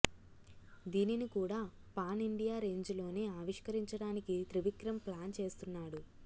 దీనిని కూడా pan India range లోనే ఆవిష్కరించడానికి త్రివిక్రమ్ ప్లాన్ చేస్తున్నాడు